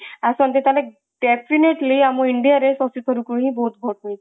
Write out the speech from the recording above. ଆସନ୍ତେ ତାହେଲେ definitely ଆମ india ରେ ଶକ୍ତି ସ୍ୱରୂପ କୁ ହିଁ ବହୁତ ଭୋଟ ମିଳିଥାନ୍ତା